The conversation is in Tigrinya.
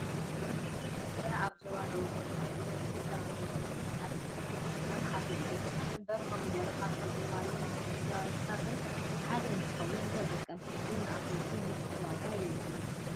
ኮሚደረ ኣብ ዞባ ደቡብ ትግራይ ብበዝሒ ካብ ዝምረቱ ናይ ኣትኽልቲ ዓይነታት ሓደ እዩ። ይኹን እምበር ኮሚደረ ካብቶም እዋናዊ ምህርትታት ሓደ እንትኽውን ንተጠቀምቲ ይኹን ንኣፍረይቲ ንፁር ዋጋ የብሉን።